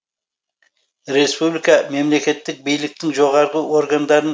республика мемлекеттік биліктің жоғарғы органдарын